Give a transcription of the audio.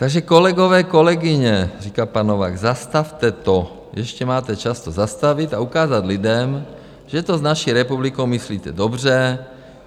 Takže kolegové, kolegyně říká, pan Novák, zastavte to, ještě máte čas to zastavit a ukázat lidem, že to s naší republikou myslíte dobře.